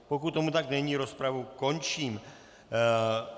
Pokud tomu tak není, rozpravu končím.